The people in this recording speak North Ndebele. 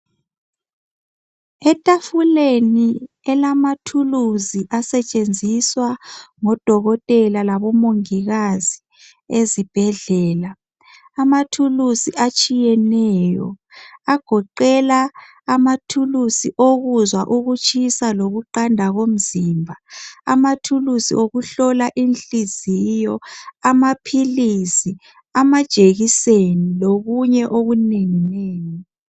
Etafuleni elamathulusi asetshenziswa ngodokotela labomongikazi ezibhedlela. Amathulusi atshiyeneyo agoqela amathulusi owokuzwa ukutshisa lokuqanda komzimba. Amathulusi wokuhlola inhliziyo, amaphilisi, amajekiseni lokunye okunenginengi.